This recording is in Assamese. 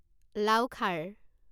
লাও খাৰ